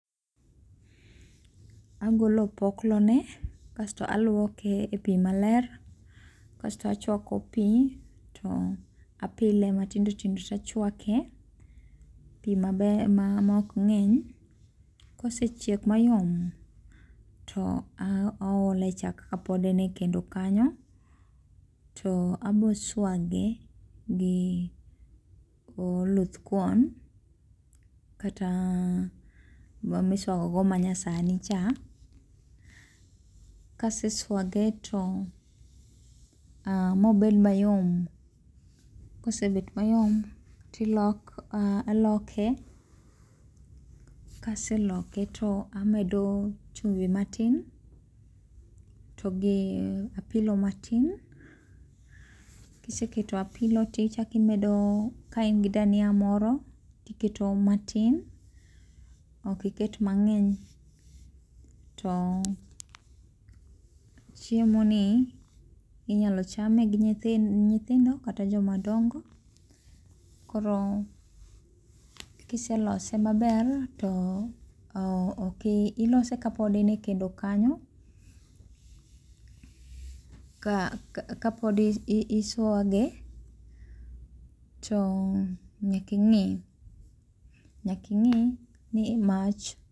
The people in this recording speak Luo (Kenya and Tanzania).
Agolo opoklone kasto alwoke e pi maler kasto achwako pi to apile matindotindo tachwake pi maok ng'eny kosechiek mayom to aole chak kapod en e kendo kanyo to aboswage gi oluth kuon kata miswagogo manyasani cha, kaseswage mobed mayom, kosebet mayom taloke kaseloke to amedo chumvi matin to gi apilo matin, kiseketo apilo tichaki imedo ka in gi dania moro tiketo matin ok iket mang'eny to chiemoni inyalo chame gi nyithindo kata joma dongo koro kiselose maber to ilose kapod en e kendo kanyo kapod iswage to nyaking'e ni mach.